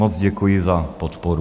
Moc děkuji za podporu.